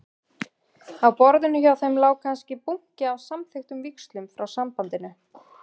Á borðinu hjá þeim lá kannski bunki af samþykktum víxlum frá Sambandinu.